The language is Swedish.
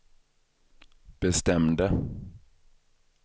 bestämde